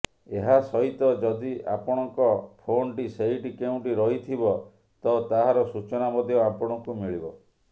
ଏହାସହିତ ଯଦି ଆପଣଙ୍କ ଫୋନ୍ ଟି ସେଇଠି କେଉଁଠି ରହିଥିବ ତ ତାହାର ସୂଚନା ମଧ୍ୟ ଆପଣଙ୍କୁ ମିଳିବ